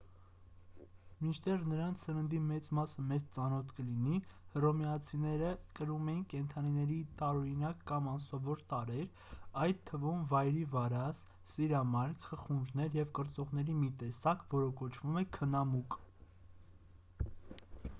մինչդեռ նրանց սննդի մեծ մասը մեզ ծանոթ կլինի հռոմեացիները կրում էին կենդանիների տարօրինակ կամ անսովոր տարրեր այդ թվում վայրի վարազ սիրամարգ խխունջներ և կրծողների մի տեսակ որը կոչվում էր քնամուկ